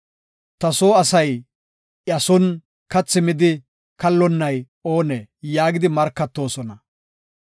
Ta soo asay, ‘Iya son kathi midi kallonnay oonee?’ yaagidi markatoosona.